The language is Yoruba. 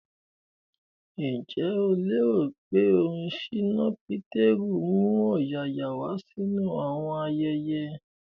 Ǹjẹ́ o lérò pé orin ṣínà Pétérù ń mú ọ̀yààyà wá sínú àwọn ayẹyẹ?